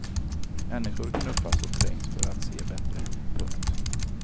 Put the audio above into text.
Människor knuffas och trängs för att se bättre. punkt